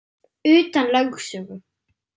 Utan lögsögu